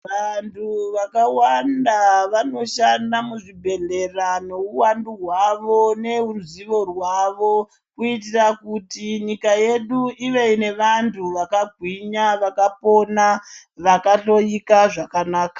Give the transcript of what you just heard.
Vantu vakawanda vanoshanda muzvibhehlera neuwandu hwavo neruzivo rwavo kuitire kuti nyika yedu ive nevantu vakagwinya vakapona ,vakahloika zvakanaka.